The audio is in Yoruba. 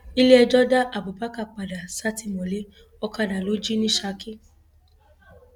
iléẹjọ da abubakar padà sátìmọlé ọkadà ló jì ní saki